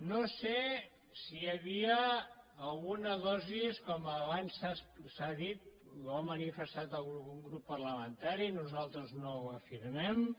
no sé si hi havia alguna dosi com abans s’ha dit ho ha manifestat algun grup parlamentari nosaltres no ho afirmem